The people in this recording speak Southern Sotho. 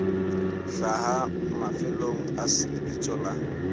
hlaha mafelong a lebitso la